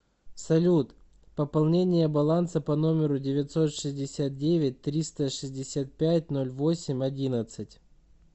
салют пополнение баланса по номеру девятьсот шестьдесят девять триста шестьдесят пять ноль восемь одиннадцать